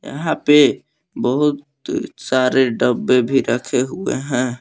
यहां पे बहुत सारे डब्बे भी रखे हुए हैं।